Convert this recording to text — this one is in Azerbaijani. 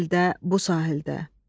O sahildə, bu sahildə.